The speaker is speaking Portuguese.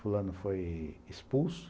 Fulano foi expulso.